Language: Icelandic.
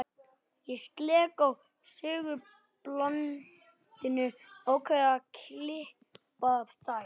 Ég slekk á segulbandinu og ákveð að klippa þær.